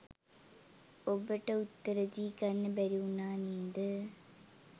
උබට උත්තර දී ගන්න බැරි උනා නේද